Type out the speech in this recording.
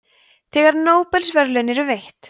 þegar nóbelsverðlaun eru veitt